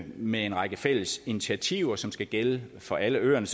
med en række fælles initiativer som skal gælde for alle øerne